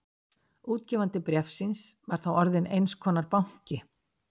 Útgefandi bréfsins var þá orðinn eins konar banki.